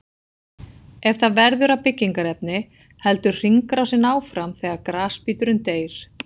Ef það verður að byggingarefni heldur hringrásin áfram þegar grasbíturinn deyr.